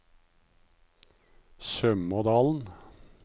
Sømådalen